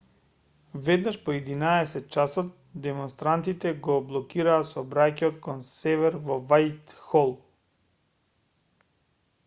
веднаш по 11:00 часот демонстрантите го блокираа сообраќајот кон север во вајтхол